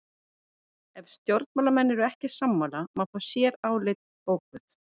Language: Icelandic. Ef stjórnarmenn eru ekki sammála má fá sérálit bókuð.